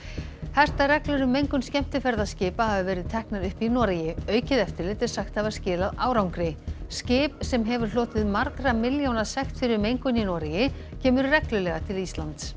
hertar reglur um mengun skemmtiferðaskipa hafa verið teknar upp í Noregi aukið eftirlit er sagt hafa skilað árangri skip sem hefur hlotið margra milljóna sekt fyrir mengun í Noregi kemur reglulega til Íslands